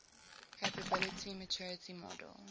capability maturity model